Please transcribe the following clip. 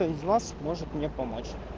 кто из вас может мне помочь